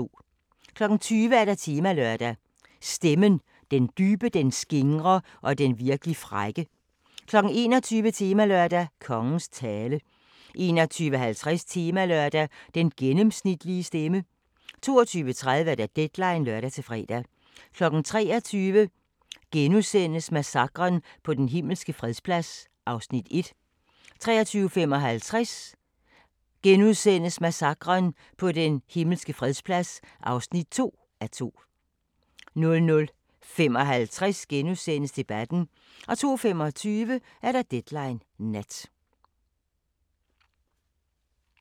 20:00: Temalørdag: Stemmen – den dybe, den skingre og den virkelig frække 21:00: Temalørdag: Kongens tale 21:50: Temalørdag: Den gennemsnitlige stemme 22:30: Deadline (lør-fre) 23:00: Massakren på Den Himmelske Fredsplads (1:2)* 23:55: Massakren på Den Himmelske Fredsplads (2:2)* 00:55: Debatten * 02:25: Deadline Nat